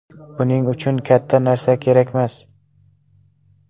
Buning uchun katta narsa kerakmas.